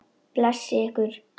Blessi ykkur.